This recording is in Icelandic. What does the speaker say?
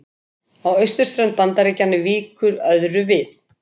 Á austurströnd Bandaríkjanna víkur öðru við.